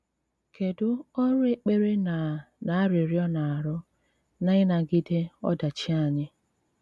Kédú ọrụ ékpèrè ná ná árịríọ́ na-arụ ná ínágídè ódàchí ányị́?